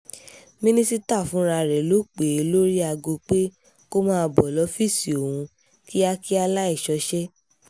mínísítà fúnra rẹ̀ ló pè é lórí aago pé kó máa bọ́ lọ́ọ́fíìsì òun kíákíá láì ṣọṣẹ́